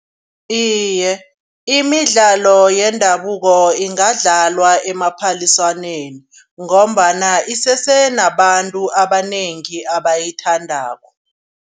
Iye imidlalo yendabuko ingadlalwa emaphaliswaneni ngombana isese nabantu abanengi abayithandako.